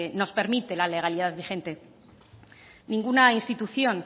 nos permite la legalidad vigente ninguna institución